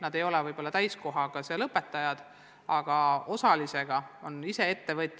Nad ei ole võib-olla mitte täiskohaga, vaid osaajaga töötavad õpetajad, ettevõtjad.